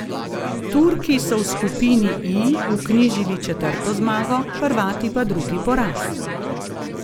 Turki so v skupini I vknjižili četrto zmago, Hrvati pa drugi poraz.